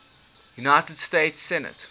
united states senate